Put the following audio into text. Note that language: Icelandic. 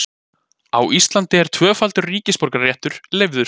Á Íslandi er tvöfaldur ríkisborgararéttur leyfður.